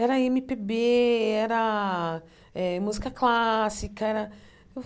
Era eMe Pê Bê, era eh música clássica.